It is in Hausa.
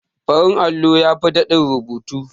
Farin allo yafi daɗin rubutu.